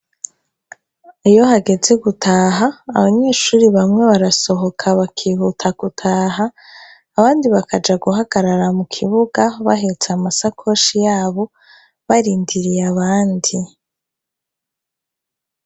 Iyo hageze gutaha abanyeshuri bamwe barasohoka bakihuta gutaha abandi bakaja guhagarara mu kibuga bahetse amasakoshi yabo barindiriye abandi.